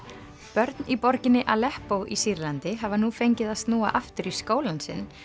börn í borginni í Sýrlandi hafa nú fengið að snúa aftur í skólann sinn